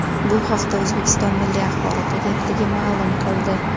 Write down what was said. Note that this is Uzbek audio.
Bu haqda O‘zbekiston Milliy axborot agentligi ma’lum qildi .